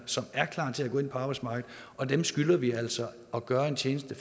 som er klar til at gå ind på arbejdsmarkedet og dem skylder vi altså at gøre den tjeneste